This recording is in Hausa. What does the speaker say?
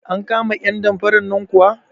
An kama 'yan damfaran nan kuwa?